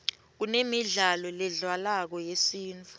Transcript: kunemidlalo ledlalwako yesintfu